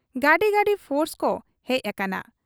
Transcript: ᱜᱟᱹᱰᱤ ᱜᱟᱹᱰᱤ ᱯᱷᱳᱨᱥᱠᱚ ᱦᱮᱡ ᱟᱠᱟᱱᱟ ᱾